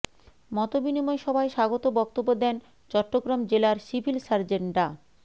মতবিনিময় সভায় স্বাগত বক্তব্য দেন চট্টগ্রাম জেলার সিভিল সার্জন ডা